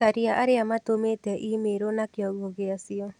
Caria arĩa matũmĩte i-mīrū na kiongo gĩacio